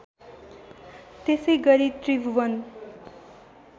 त्यसै गरी त्रिभुवन